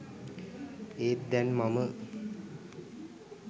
ඒත් දැන් මම